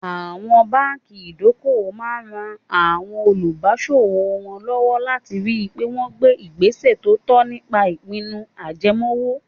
Àwọn báńkì ìdókòwò máa ran àwọn olùbáṣòwò wọn lọ́wọ́ láti ri pé wọ́n gbé ìgbésẹ̀ tó tọ́ nípa ìpinnu ajẹmoówó.